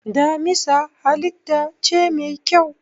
Damisa halitta ce mai kyau.